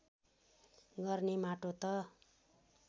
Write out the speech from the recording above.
गर्ने माटो त